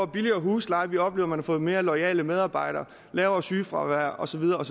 billigere husleje vi oplever man får mere loyale medarbejdere lavere sygefravær og så videre